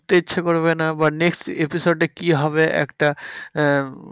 উঠতে ইচ্ছা করবে না বা next episode এ কি হবে একটা আহ